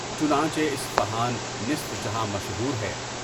چنانچہ اصفہان نصف جہاں مشہور ہے۔